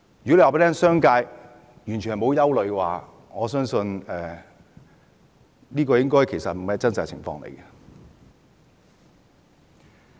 如果說商界完全沒有憂慮，我相信這並非真實的情況。